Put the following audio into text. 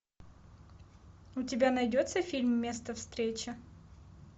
у тебя найдется фильм место встречи